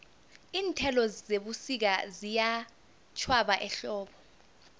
iinthelo zebusika ziyatjhwaba ehlobo